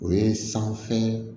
O ye sanfɛ